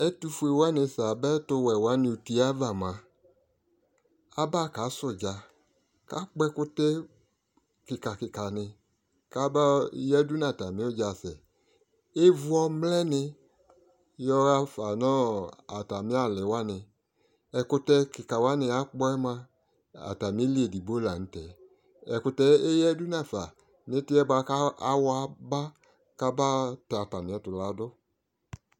Ɛtʋfʋe wani fa aba ɛtʋwɛ alʋ wani ʋtie ava mʋa aba kasɛ ʋdza kʋ akpɔ ɛkʋtɛ kika kika ni kaba yadʋ nʋ atami ʋdza asɛ evʋ ɔmlɛni yaɣa fanʋ atami ali wani ɛkʋtɛ kika wani akpɔɛ mʋa atamili edigbo lanʋ tɛ ɛkʋtɛ eyadʋ nafa nʋ itiyɛ awɔ aba kaba tɛ atamiɛtʋ ladʋ